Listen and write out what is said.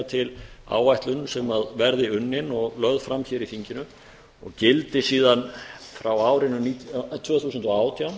til áætlun sem verði unnin og lögð fram hér í þinginu og gildi síðan frá árinu tvö þúsund og átján